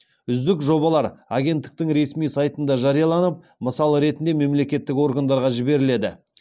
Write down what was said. үздік жобалар агенттіктің ресми сайтында жарияланып мысал ретінде мемлекеттік органдарға жіберіледі